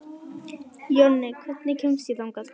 Jonni, hvernig kemst ég þangað?